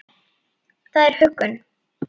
Það er huggun.